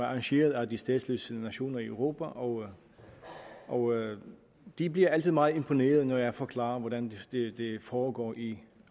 arrangeret af de statsløse nationer i europa og og de bliver altid meget imponeret når jeg forklarer hvordan det foregår i